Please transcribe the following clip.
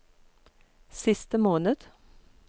siste måned